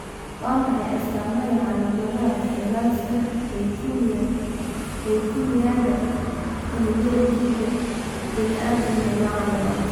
Waa maxay astamaha iyo calaamadaha fayraska leukemia-ga unugyada T-ga bini'aadamka, nooca labaad?